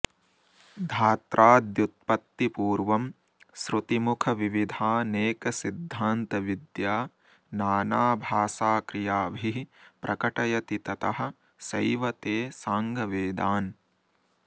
धात्राद्युत्पत्तिपूर्वं श्रुतिमुखविविधानेकसिद्धान्तविद्या नानाभाषाक्रियाभिः प्रकटयति ततः सैव ते साङ्गवेदान्